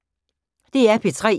DR P3